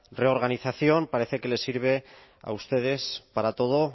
reorganización parece que les sirve a ustedes para todo